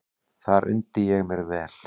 Þar undi ég mér vel.